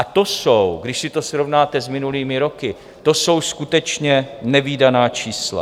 A to jsou, když si to srovnáte s minulými roky, to jsou skutečně nevídaná čísla.